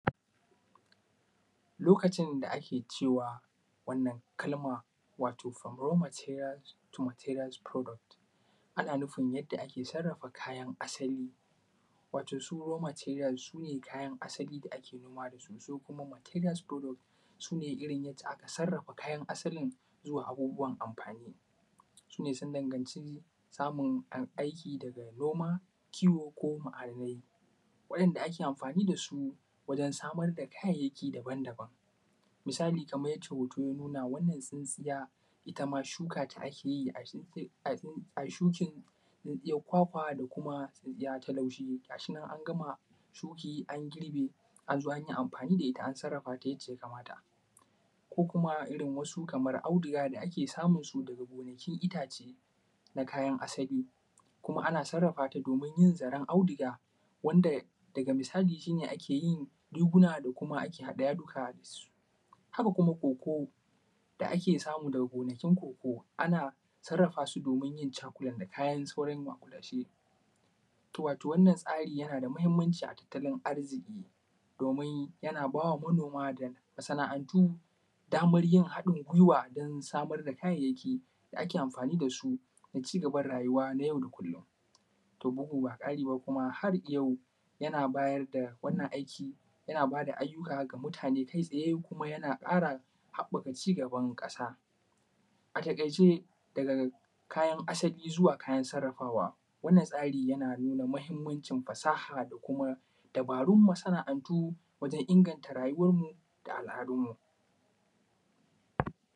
Lokacin da ake cewa wannan kalma wato from row material product ana nifin yanda ake sarrafa kayan asali, wato su row material su ne kayan asali da ake noma da su, su kuma material product su ne yanda aka sarrafa kayan asalin zuwa abubuwan amfani su ne sun danganci samun aiki da noma kiwo. Ko ma’adanai su ne wanda ake amfani da su wajen samar da kayayyaki daban-daban misali kaman yanda hoto ya nuna wannan tsintsiya itama shukata ake yi a shuka tsintsiyan kwakwa da kuma tsintsiyan laushi, gashi nan an gama curi kuma an girbe an zo an yi amfani da ita, an sarrafa ta yanda ya kamata ko kuma irin kamansu auduga da ake samu daga gonakin itace na kayan asali. Sannan a sarrafa ta domin yin zaren audiga wanda daga bisani shi ne ake yin riguna kuma ake haɗa yaduka da su, haka kuma koko da ake samu daga gonakin koko ana sarrafa su domin yin chocolate da kuma kayan maƙulashe. To, wato wannan tsari yana da matuƙar mahinmanci a tattalin arziƙi domin yana ba wa manoma da masana’antu daman yin haɗin giwa da samar da kayayyaki da ake amfani da su don cigaban rayuwa na yau da kullon domin kuma harwayau yana bayar da wannan aiki yana ba da ayyuka wa mutane kai tsaye, kuma yana ba da haɓɓaka cigaban ƙasa. A taƙaice daga kayan asali zuwa kayan sarrafawa, wannan tsari yana da mahinmanci fasaha da kuma dubarun masana’antanmu wajen inganta rayuwanmu da al’adunmu.